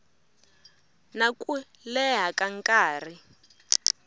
na ku leha ka nkarhi